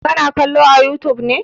Ka na kallo a youtube ne?